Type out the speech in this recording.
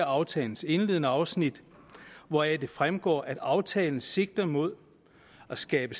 aftalens indledende afsnit hvoraf det fremgår at aftalen sigter mod at skabe